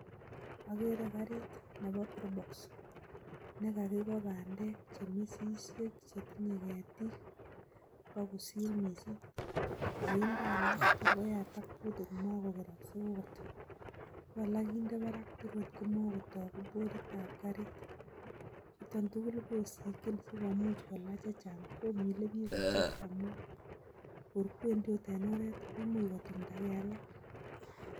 Ageree garit Nepo probox nakakindeee pandeek konyiiii parak